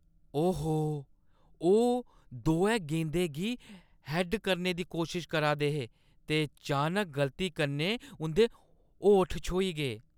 ओहो! ओह् दोऐ गेंदै गी हैड्ड करने दी कोशश करा दे हे ते चानक गलती कन्नै उंʼदे ओठ छ्‌होई गे।